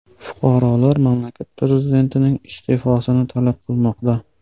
Fuqarolar mamlakat prezidentining iste’fosini talab qilmoqda.